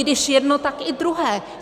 Když jedno, tak i druhé.